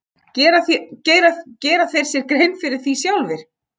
Gera þeir sér þá grein fyrir því sjálfir?